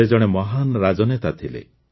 ସେ ଜଣେ ମହାନ ରାଜନେତା ଥିଲେ